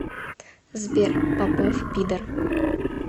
сбер попов пидор